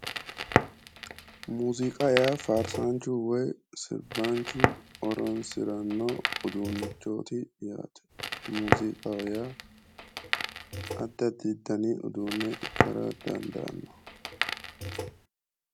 Muuziiqa yaa faarsaanchu woy sirbaanchu horonsi'ranno uduunnichooti yaate, muuziiqaho yaa addi addi dani uduunne ikkara dandaanno.